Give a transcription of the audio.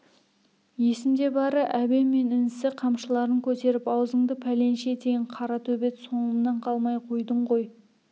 есімде бары әбен мен інісі қамшыларын көтеріп аузыңды пәленше етейін қара төбет соңымнан қалмай қойдың ғой